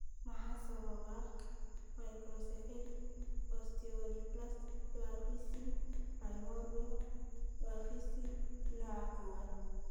Maxaa sababa microcephalic osteodysplastic dwarfism primordial dwarfism nooca kowaad (MOPD koow)?